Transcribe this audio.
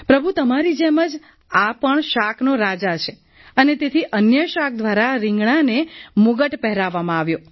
પ્રભુ તમારી જેમ જ આ પણ શાકનો રાજા છે અને તેથી અન્ય શાક દ્વારા રિંગણાને મુગટ પહેરાવવામાં આવ્યો